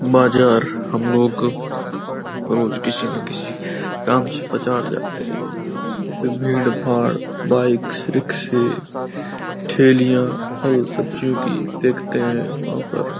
बाजार हम लोग रोज किसी न किसी काम से बाजार जाते हैं। वहां पे भीड़-भाड़ बाइक्स रिक्शे ठेलीयां फल सब्जियों की देखते हैं वहां पर --